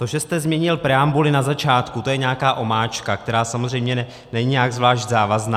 To, že jste změnil preambuli na začátku, to je nějaká omáčka, která samozřejmě není nějak zvlášť závazná.